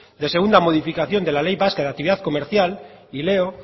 de segunda modificación de la ley vasca de actividad comercial y leo